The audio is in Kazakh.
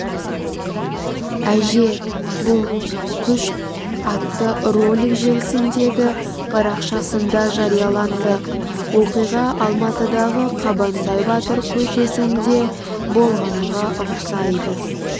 әже бұл күш атты ролик желісіндегі парақшасында жарияланды оқиға алматыдағы қабанбай батыр көшесінде болғанға ұқсайды